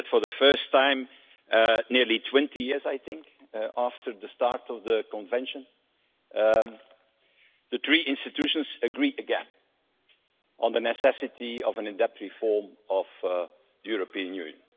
That is that, for the first time nearly 20 years, I think, after the start of the Convention, the three institutions agree again on the necessity for an in depth reform of the European Union.